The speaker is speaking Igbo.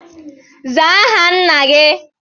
Zaa aha Nna gi!